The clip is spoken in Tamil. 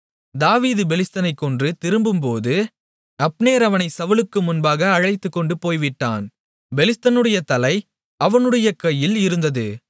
தாவீது பெலிஸ்தனைக் கொன்று திரும்பும்போது அப்னேர் அவனைச் சவுலுக்கு முன்பாக அழைத்துக்கொண்டு போய்விட்டான் பெலிஸ்தனுடைய தலை அவனுடைய கையில் இருந்தது